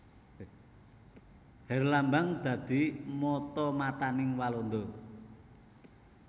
Herlambang dadi mata matané Walanda